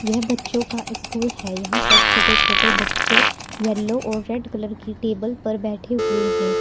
यह बच्चों का स्कूल है यहां पर छोटे छोटे बच्चे येलो और रेड कलर की टेबल पर बैठे हुए हैं।